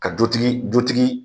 Ka dutigi dutigi